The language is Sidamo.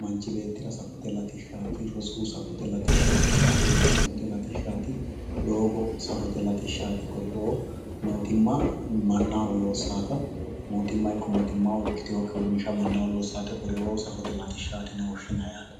manchi beettira safote latishshaati rosu safote latishshaati caabbichu safote latishshaati doogo safote latishshaati kuriuu mootimma mannaho loossaata mootimma ikkito mootimma ikkitinokki uurinsha kuriuu safote latishshaati yine woshshinayi yaate